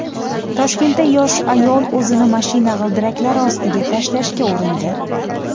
Toshkentda yosh ayol o‘zini mashina g‘ildiraklari ostiga tashlashga urindi .